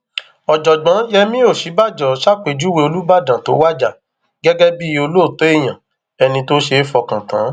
ọjọgbọn yemí òsínbàjò ṣàpèjúwe olùbàdàn tó wájà gẹgẹ bíi olóòótọ èèyàn ẹni tó ṣeé fọkàn tán